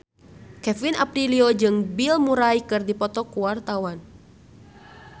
Kevin Aprilio jeung Bill Murray keur dipoto ku wartawan